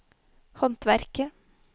håndverker